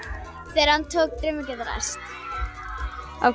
þegar hann tók draumar geta ræst